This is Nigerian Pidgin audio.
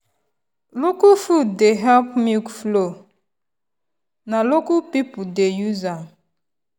local food dey help milk flow na local people dey use am.